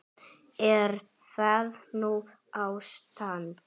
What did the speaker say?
Er það nú ástand!